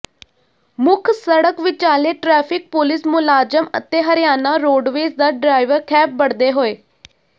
ਮੁੱਖ ਸੜਕ ਵਿਚਾਲੇ ਟਰੈਫਿਕ ਪੁਲੀਸ ਮੁਲਾਜ਼ਮ ਅਤੇ ਹਰਿਆਣਾ ਰੋਡਵੇਜ਼ ਦਾ ਡਰਾਈਵਰ ਖਹਿਬੜਦੇ ਹੋਏ